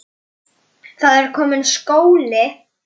Hún yrði fyrst.